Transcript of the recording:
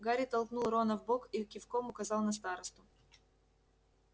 гарри толкнул рона в бок и кивком указал на старосту